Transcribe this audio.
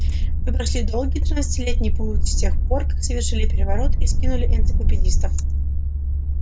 мы прошли долгий тринадцатилетний путь с тех пор как совершили переворот и скинули энциклопедистов